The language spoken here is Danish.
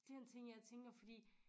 Den ting jeg tænker fordi